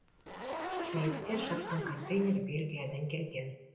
мәйіттер жатқан контейнер бельгиядан келген